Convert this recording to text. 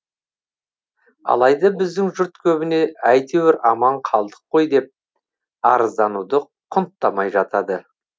алайда біздің жұрт көбіне әйтеуір аман қалдық қой деп арыздануды құнттамай жатады